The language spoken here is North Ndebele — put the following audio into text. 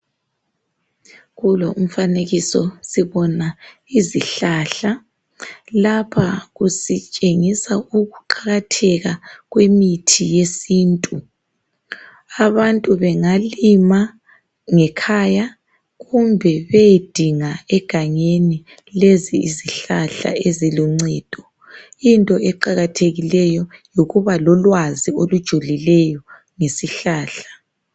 kulo umfanekiso sibona izihlahla lapha kusithengisa ukuqakatheka kwemithi yesintu abantu bengalima ngekhaya kumbe beyedinga egangeni lezi yizihlahla eziluncedo into eqakathekileyo yikuba lolwazi olujulileyo ngesihlahla